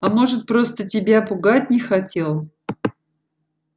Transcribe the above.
а может просто тебя пугать не хотел